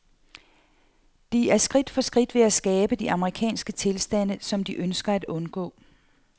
De er skridt for skridt ved at skabe de amerikanske tilstande, som de ønsker at undgå.